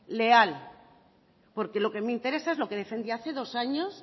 leal porque lo que me interesa es lo que defendí hace dos años